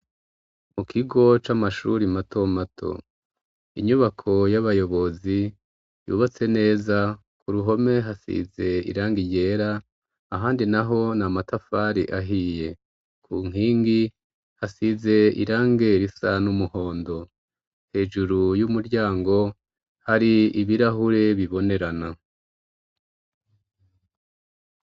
Mu kigo c'amashuri mato mato inyubako y'abayobozi yubatse neza ku ruhome hasize irangi yera ahandi naho na matafari ahiye ku nkingi hasize irange risa n'umuhondo hejuru y'umuryango hari ibirahure bibonerana.